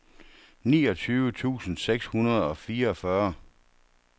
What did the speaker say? niogtyve tusind seks hundrede og fireogfyrre